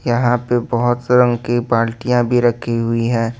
यहां पे बहुत से रंग की बाल्टियां भी रखी हुई हैं।